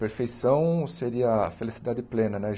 Perfeição seria a felicidade plena né.